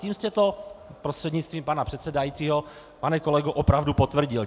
Tím jste to, prostřednictvím pana předsedajícího pane kolego, opravdu potvrdil.